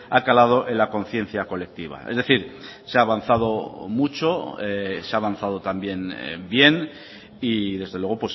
ha calado en la conciencia colectiva es decir se ha avanzado mucho se ha avanzado también bien y desde luego